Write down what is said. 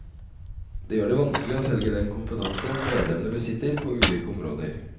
Det gjør det vanskelig å selge den kompetanse medlemmene besitter på ulike områder.